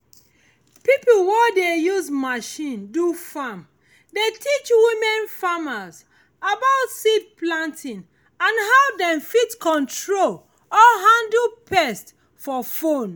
pipo wey dey use machine do farm dey teach women farmers about seed planting and how dem fit control or handle pest for phones